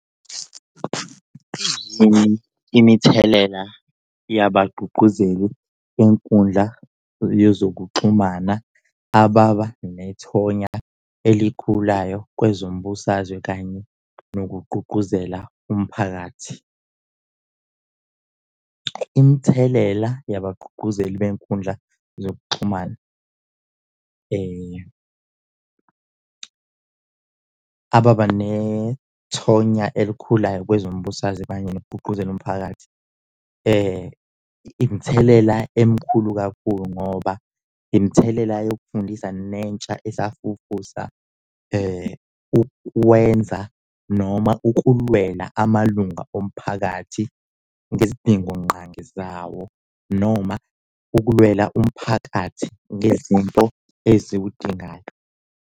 Imithelela yebagqugquzeli benkundla yezokuxhumana ababa nethonya elikhulayo kwezombusazwe kanye nokugqugquzela umphakathi. Imithelela yebagqugquzeli benkundla yezokuxhumana ababa nethonya elikhulayo kwezombusazwe kanye nokugqugquzela umphakathi imithelela emkhulu kakhulu ngoba imithelela yokufundisa nentsha esafufusa ukwenza noma ukulwela amalunga omphakathi ngezidingongqangi zawo noma ukulwela umphakathi ngezinto eziwudingayo.